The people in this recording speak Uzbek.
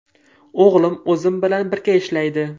O‘g‘lim o‘zim bilan birga ishlaydi.